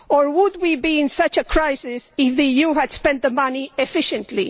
Would we be in such a crisis if the EU had spent the money efficiently?